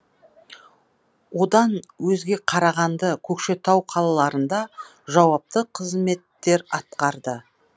одан өзге қарағанды көкшетау қалаларында жауапты қызметтер атқарды